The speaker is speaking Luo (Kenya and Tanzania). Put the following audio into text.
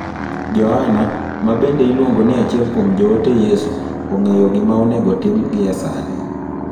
Joana, ma bende iluongo ni achiel kuom joote Yesu, ong'eyo gima onego otim gie sani.